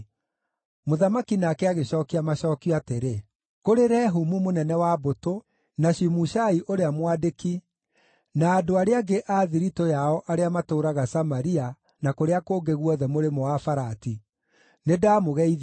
Mũthamaki nake agĩcookia macookio atĩrĩ: Kũrĩ Rehumu mũnene wa mbũtũ, na Shimushai ũrĩa mwandĩki, na andũ arĩa angĩ a thiritũ yao arĩa matũũraga Samaria na kũrĩa kũngĩ guothe Mũrĩmo-wa-Farati: Nĩndamũgeithia.